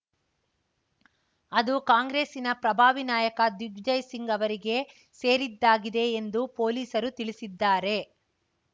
ಅದು ಕಾಂಗ್ರೆಸ್ಸಿನ ಪ್ರಭಾವಿ ನಾಯಕ ದಿಗ್ವಿಜಯ್‌ ಸಿಂಗ್‌ ಅವರಿಗೆ ಸೇರಿದ್ದಾಗಿದೆ ಎಂದು ಪೊಲೀಸರು ತಿಳಿಸಿದ್ದಾರೆ